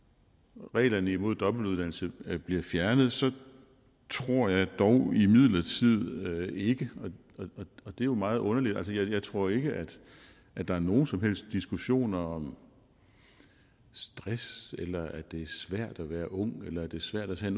reglerne mod dobbeltuddannelse bliver fjernet så tror jeg imidlertid ikke og det er jo meget underligt at at der er nogen som helst diskussion om stress eller om at det er svært at være ung eller at det er svært at tage